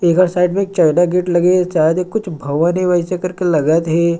अबर साइड मे चौदा बिट लगी है शायद ये कुछ भवन हे वैसे करके लगत हे |